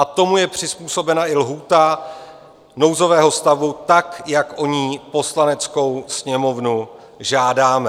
A tomu je přizpůsobena i lhůta nouzového stavu, tak jak o ni Poslaneckou sněmovnu žádáme.